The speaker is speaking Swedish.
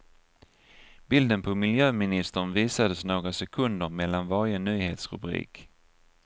Bilden på miljöministern visades några sekunder mellan varje nyhetsrubrik.